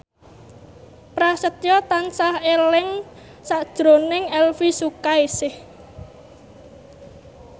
Prasetyo tansah eling sakjroning Elvy Sukaesih